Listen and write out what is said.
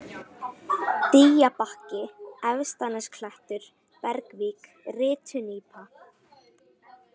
Dýjabakki, Efstanesklettur, Bergvík, Rytunípa